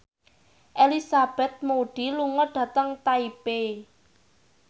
Elizabeth Moody lunga dhateng Taipei